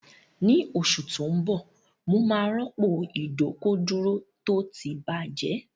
Ní oṣù tó ń bọ̀, mo máa rọ́pò ìdọ́kọ̀dúró tó ti bàjẹ́